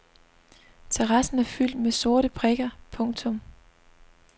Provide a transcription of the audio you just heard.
Terrassen er fyldt med sorte prikker. punktum